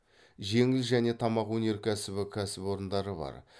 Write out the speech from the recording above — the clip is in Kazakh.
жеңіл және тамақ өнеркәсібі кәсіпорындары бар